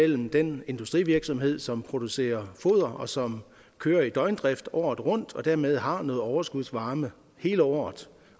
den industrivirksomhed som producerer foder og som kører i døgndrift året rundt og dermed har noget overskudsvarme hele året